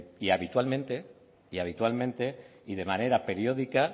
y habitualmente y de manera periódica